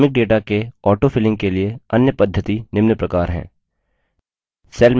अनुक्रमिक data के autofilling के लिए अन्य पद्धति निम्न प्रकार है